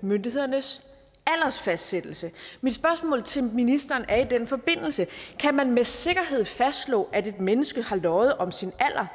myndighedernes aldersfastsættelse mit spørgsmål til ministeren er i den forbindelse kan man med sikkerhed fastslå at et menneske har løjet om sin alder